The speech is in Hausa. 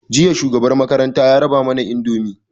Jiya shugaban makaranta ya raba mana indomi